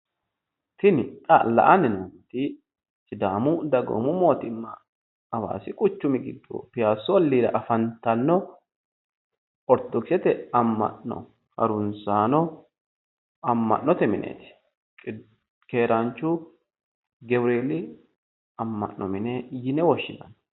Tini xa la"anni noommoti sidaamu dagoomu mootimma hawaasi quchumi giddo piyassu olliira afantanno ortodoksete amma'no haruunsaano amma'note mineeti. Keeraanchu gawureeli amma'note mine yine woshshinanni.